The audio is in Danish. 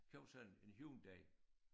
Købte sådan en en Hyundai